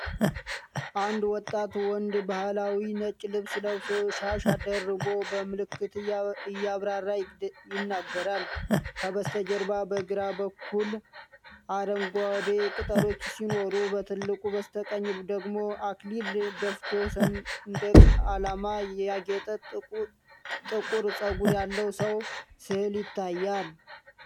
አንድ ወጣት ወንድ ባህላዊ ነጭ ልብስ ለብሶ፣ ሻሽ ደርቦ፣ በምልክት እያብራራ ይናገራል። ከበስተጀርባው በግራ በኩል አረንጓዴ ቅጠሎች ሲኖሩ፣ በትልቁ በስተቀኝ ደግሞ አክሊል ደፍቶ፣ ሰንደቅ ዓላማ ያጌጠ ጥቁር ፀጉር ያለው ሰው ሥዕል ይታያል።